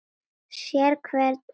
Sérhver andar